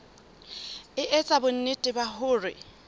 e etsa bonnete ba hore